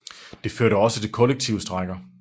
Det førte også til kollektive strejker